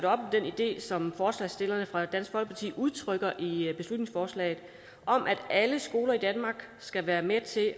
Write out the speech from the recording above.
om den idé som forslagsstillerne fra dansk folkeparti udtrykker i beslutningsforslaget om at alle skoler i danmark skal være med til